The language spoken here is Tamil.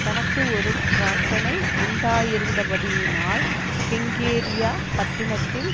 தனக்கு ஒரு பிரார்த்தனை உண்டாயிருந்தபடியினால் கெங்கிரேயா பட்டணத்தில்